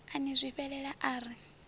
a ni zwifhelela a ri